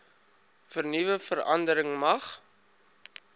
vernuwe verandering mag